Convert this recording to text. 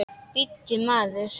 Bíddu, maður!